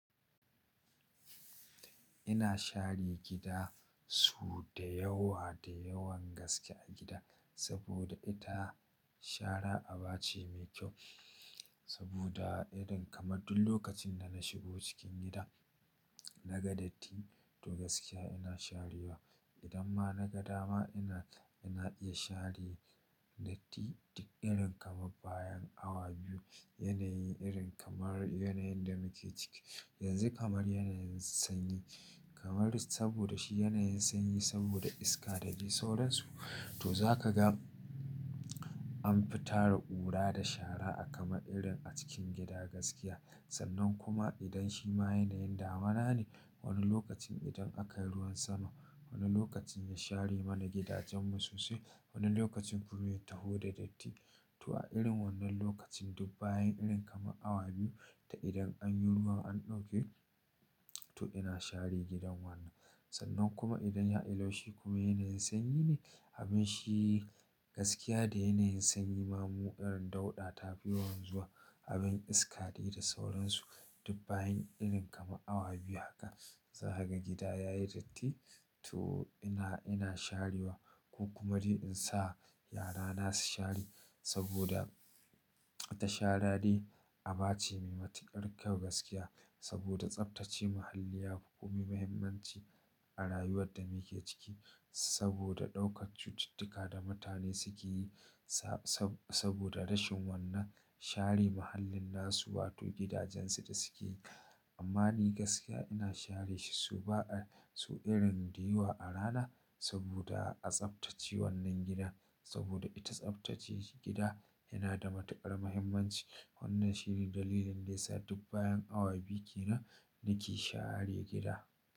Ina share gida su da yawa da yawan gaske a gida, saboda ita shara aba ce mai kyau. Saboda irin kamar duk lokacin da na shigo cikin gida, naga datti to gaskiya ina sharewa. Idan ma naga dama ina, ina iya share datti duk irin kamar bayan awa biyu. Yanayin irin kamar yanayin da muke ciki. Yanzu kamar yanayin sanyi, kamar saboda shi yanayin sanyi saboda iska da dai sauransu. To za ka ga anfi tara ƙura da shara a kama irin a cikin gida gaskiya. Sannan kuma idan shi ma yanayin damana ne, wani lokacin idan aka yi ruwan sama, wani lokaci ya share mana gidajenmu sosai, wani lokacin kureta taho da datti. To a irin wannan lokacin duk bayan irin kamar awa biyu ta idan an yi ruwa an ɗauke, to ina share gidan wannan. Sannan kuma idan ya hada laushi kuma yanayin sanyi ne, abin shi gaskiya da yanayin sanyi ma mu irin dauɗa tafi yawan zuwa Abin iska de da sauransu duk bayan irin kamar awa biyu haka. Za kaga gida yayi datti to ina, ina sharewa ko kuma dai in sa yara na su share saboda ita shara dai aba ce mai matuƙar kyau gaskiya. Saboda tsaftace muhalli yafi komai muhimmanci a rayuwar da muke ciki. Saboda ɗaukar cututtuka da mutane suke yi sabo-sabo da rashin wannan share mahallin nasu wato gidajen su da suke. Amma ni gaskiya ina share shi so ba a so irin ɗiyawa a rana saboda a tsaftace wannan gidan. Saboda ita tsaftace gida yana da matuƙar muhimmanci. Wannan shi ne dalilin da yasa duk bayan awa biyu kenan nake share gida.